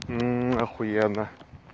ахуенно